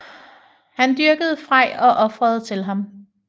Han dyrkede Frej og ofrede til ham